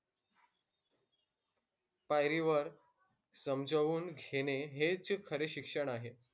पायरीवर समजवून घेणे हेच खरे शिक्षण आहे.